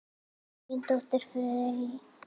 Þín dóttir, Fanney.